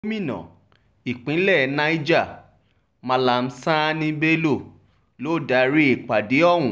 gomina ìpínlẹ̀ niger mallam sani bello ló darí ìpàdé ohun